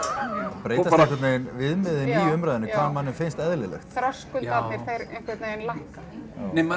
breytast einhvern veginn viðmiðin í umræðunni hvað manni finnst eðlilegt já þröskuldarnir þeir einhvern veginn lækka nei maður er